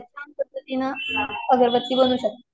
या पद्धतीन अगरबत्ती बनवू शकतो.